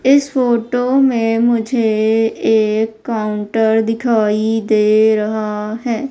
इस फोटो में मुझे एक काउंटर दिखाई दे रहा है।